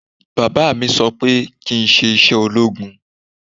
Bàbá mi sọ pé kí n ṣe iṣẹ́ ológun